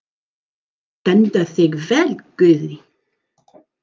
Þú stendur þig vel, Guðný!